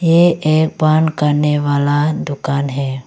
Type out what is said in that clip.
ये पान करने वाला दुकान है।